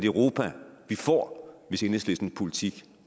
europa vi får hvis enhedslistens politik